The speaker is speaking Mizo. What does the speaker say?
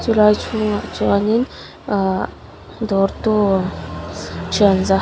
chulai chhungah chuanin ahh dawrtu thianza ho--